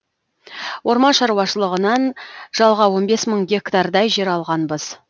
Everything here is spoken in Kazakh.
орман шаруашылығынан жалға он бес мың гектардай жер алғанбыз